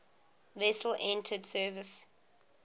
vessel entered service